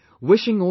"